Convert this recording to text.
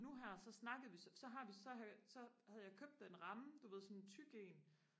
nu her så snakkede vi så så har vi så havde jeg købt en ramme du ved sådan en tyk en